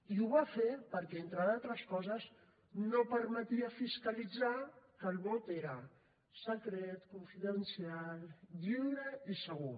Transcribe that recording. i ho va fer perquè entre d’altres coses no permetia fiscalitzar que el vot era secret confidencial lliure i segur